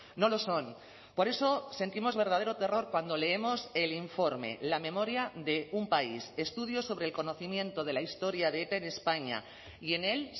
no lo son por eso sentimos verdadero terror cuando leemos el informe la memoria de un país estudios sobre el conocimiento de la historia de eta en españa y en él